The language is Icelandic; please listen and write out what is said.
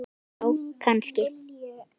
Já, kannski